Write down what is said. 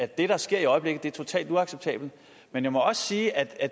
det der sker i øjeblikket som værende totalt uacceptabelt men jeg må også sige at